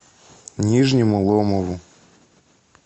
нижнему ломову